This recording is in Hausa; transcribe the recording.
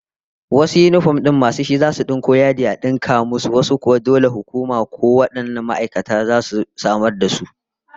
Wasu yinifom din mai su shi zai yanko yadi ya dinka abin sa, wasu kuwa dole hukuma ko kuma wannan ma'aikatar su zasu samar da su.